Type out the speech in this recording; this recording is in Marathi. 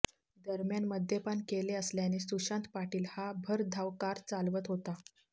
दरम्यान मद्यपान केले असल्याने सुशांत पाटील हा भरधाव कार चालवत होता